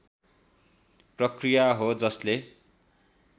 प्रक्रिया हो जसले